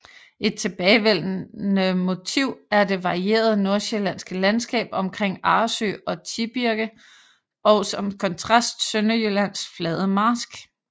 Et tilbagevendende motiv er det varierede Nordsjællandske landskab omkring Arresø og Tibirke og som kontrast Sønderjyllands flade marsk